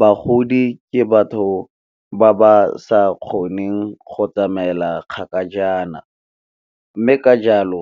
Bagodi ke batho ba ba sa kgoneng go tsamaela kgakajana, mme ka jalo